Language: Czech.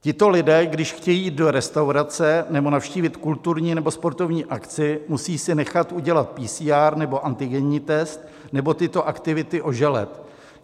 Tito lidé, když chtějí jít do restaurace nebo navštívit kulturní nebo sportovní akci, musí si nechat udělat PCR nebo antigenní test nebo tyto aktivity oželet.